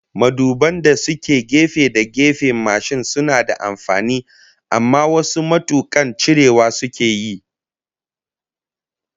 Maduban da suke gefe da gefen mashin suna da amfani, amma wasu matukan cirewa sukeyi